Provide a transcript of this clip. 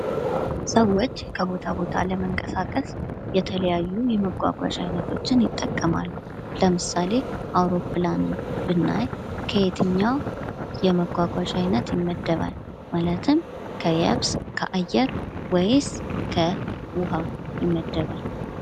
ሰዎች ከቦታው ቦታ ለመንቀሳቀስ የተለያዩ የመጕጕዣ አይነቶችን ይጠቀማሉ:: ለምሳሌ አውሮፕላንን ብናይ ከየትኛው የመጕጕዣ አይነት ይመደባል ማለትም ከየብስ የአየር ወይስ ከዉሀ ይመደባል?